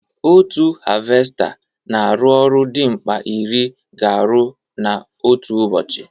Otu havesta na arụ ọrụ dị mkpa ịrị ga arụ na otu ụbọchị